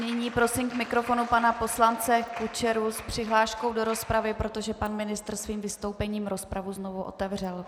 Nyní prosím k mikrofonu pana poslance Kučeru s přihláškou do rozpravy, protože pan ministr svým vystoupením rozpravu znovu otevřel.